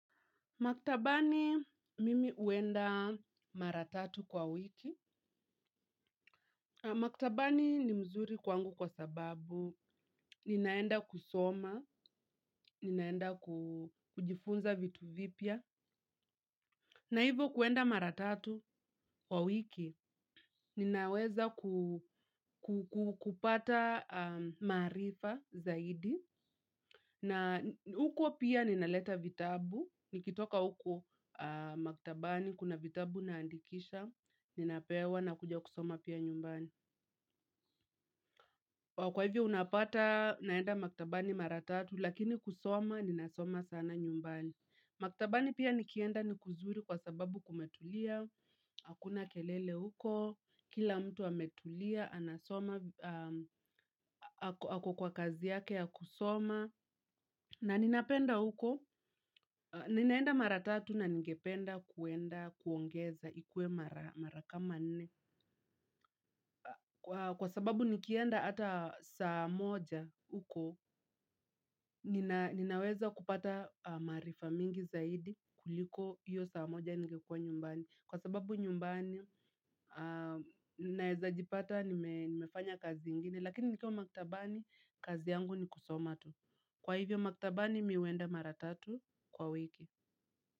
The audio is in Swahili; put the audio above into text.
Maktabani mimi huenda mara tatu kwa wiki. Maktabani ni mzuri kwangu kwa sababu, ninaenda kusoma, ninaenda kujifunza vitu vipya. Na hivyo kuenda mara tatu kwa wiki ninaweza kupata maarifa zaidi na huko pia ninaleta vitabu nikitoka huko maktabani kuna vitabu naandikisha ninapewa nakuja kusoma pia nyumbani. Kwa hivyo unapata naenda maktabani mara tatu lakini kusoma ninasoma sana nyumbani. Maktabani pia nikienda ni kuzuri kwa sababu kumetulia, hakuna kelele huko, kila mtu ametulia, anasoma, ako kwa kazi yake ya kusoma. Na ninapenda huko, ninaenda mara tatu na ningependa kwenda kuongeza ikue mara kama nne. Kwa sababu nikienda hata saa moja huko, ninaweza kupata maarifa mingi zaidi kuliko hiyo saa moja nikekua nyumbani. Kwa sababu nyumbani, naweza jipata nimefanya kazi ingine, lakini nikiwa maktabani, kazi yangu ni kusoma tu. Kwa hivyo maktabani, mimi huenda mara tatu kwa wiki.